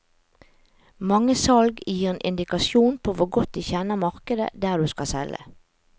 Mange salg gir en indikasjon på hvor godt de kjenner markedet der du skal selge.